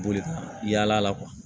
Boli ka yaala